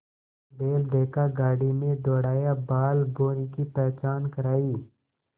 बैल देखा गाड़ी में दौड़ाया बालभौंरी की पहचान करायी